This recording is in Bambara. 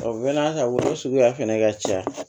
o suguya fɛnɛ ka ca